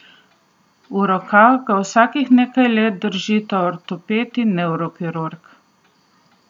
V rokah ga vsakih nekaj let držita ortoped ali nevrokirurg.